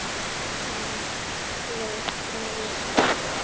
Honum leið greinilega ekki vel.